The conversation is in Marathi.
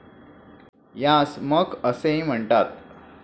यास 'मख ' असेही म्हणतात.